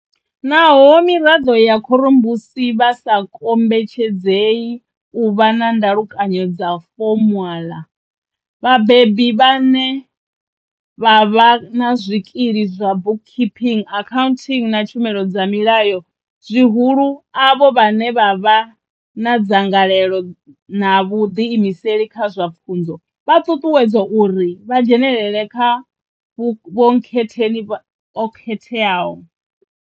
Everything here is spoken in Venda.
Naho miraḓo ya khorombusi vha sa kombetshedzei u vha na ndalukano dza fomaḽa, vhabebi vhane vha vha na zwikili zwa bookkeeping, accounting na tshumelo dza milayo zwihulu avho vhane vha vha na dzangalelo na vhuḓiimiseli kha zwa pfunzo, vha ṱuṱuwedzwa uri vha dzhenele sa vhonkhetheni o khakhetho.